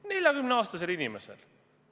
40-aastase inimese emale!